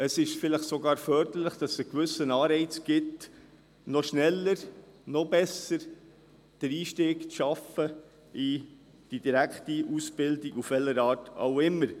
Es ist vielleicht sogar förderlich, wenn es einen gewissen Anreiz gibt, noch schneller und noch besser den Einstieg in die direkte Ausbildung zu schaffen, auf welche Art auch immer.